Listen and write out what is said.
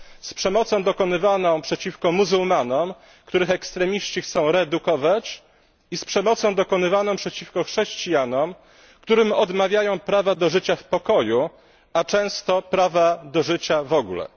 Z przemocą dokonywaną przeciwko muzułmanom, których ekstremiści chcą reedukować, i z przemocą dokonywaną przeciwko chrześcijanom, którym odmawiają prawa do życia w pokoju, a często prawa do życia w ogóle.